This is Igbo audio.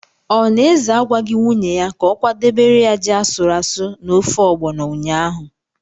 Ọ na Eze agwaghị nwunye ya ka ọ kwadebere ya ji asụrụ asụ na ofe Ọgbọnọ ụnyaahụ?